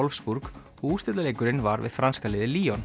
Wolfsburg og úrslitaleikurinn var við franska liðið